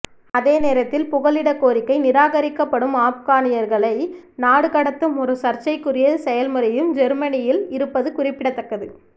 அதே நேரத்தில் புகலிடக் கோரிக்கை நிராகரிக்கப்படும் ஆப்கானியர்களை நாடு கடத்தும் ஒரு சர்ச்சைக்குரிய செயல்முறையும் ஜேர்மனியில் இருப்பது குறிப்பிடத்தக்கது